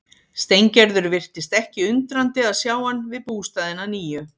Steingerður virtist ekki undrandi að sjá hann við bústaðinn að nýju.